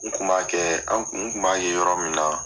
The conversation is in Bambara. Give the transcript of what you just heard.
N kun b'a kɛ an n kun b'a ye yɔrɔ min na